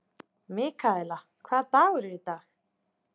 Mikaela, hvaða dagur er í dag?